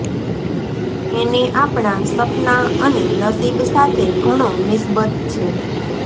એને આપણાં સપનાં અને નસીબ સાથે ઘણો નિસ્બત છે